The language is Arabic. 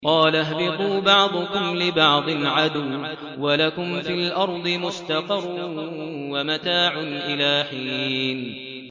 قَالَ اهْبِطُوا بَعْضُكُمْ لِبَعْضٍ عَدُوٌّ ۖ وَلَكُمْ فِي الْأَرْضِ مُسْتَقَرٌّ وَمَتَاعٌ إِلَىٰ حِينٍ